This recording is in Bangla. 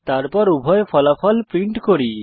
তারপর উভয় ফলাফল প্রিন্ট করি